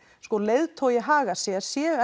leiðtogi hagar sér séu